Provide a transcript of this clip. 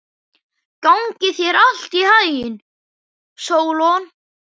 Gangi þér allt í haginn, Sólon.